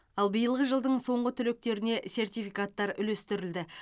ал биылғы жылдың соңғы түлектеріне сертификаттар үлестірілді